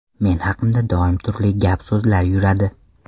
Men haqimda doim turli gap-so‘zlar yuradi.